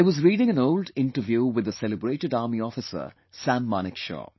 I was reading an old interview with the celebrated Army officer samManekshaw